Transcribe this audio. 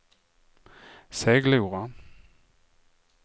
Seglora